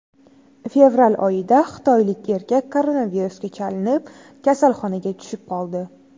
Fevral oyida xitoylik erkak koronavirusga chalinib, kasalxonaga tushib qoldi.